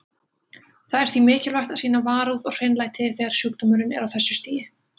Það er því mikilvægt að sýna varúð og hreinlæti þegar sjúkdómurinn er á þessu stigi.